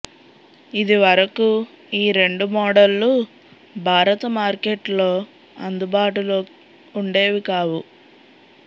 ఇదివరకు ఈ రెండు మోడళ్లు భారత మార్కెట్లో అందుబాటులో ఉండేవి కావు